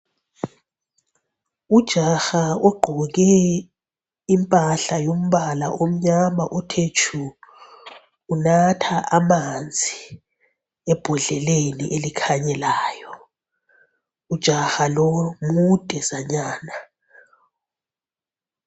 Ujaha ugqoke impahla yombala omnyama othe tshu. Unatha amanzi ebhodleleni elikhanyelayo. Ujaha lo mude zanyana.